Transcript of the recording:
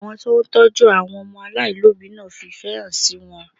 Àwọn tó ń tọ́jú àwọn ọmọ aláìlóbìí náà fi ìfẹ́ hàn sí wọn